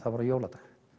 jóladag